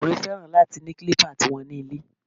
Àwọn ọkùnrin fẹ́ràn láti ni kílípà ti wọn ní ilé